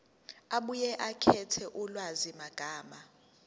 abuye akhethe ulwazimagama